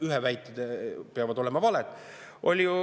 Ühe väited peavad ju olema valed.